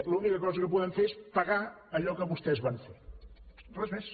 l’única cosa que podem fer és pagar allò que vostès van fer res més